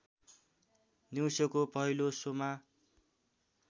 दिउँसोको पहिलो शोमा